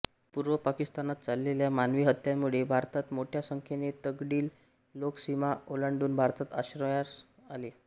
पूर्व पाकिस्तानात चाललेल्या मानवी हत्यांमुळे भारतात मोठ्या संख्येने तिकडील लोक सीमा ओलांडून भारतात आश्रयास आले